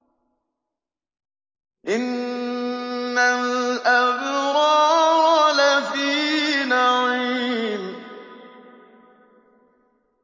إِنَّ الْأَبْرَارَ لَفِي نَعِيمٍ